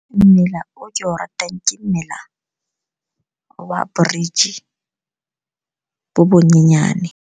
Mmila o ke o ratang ke mmila wa bridge bo bonyenyane.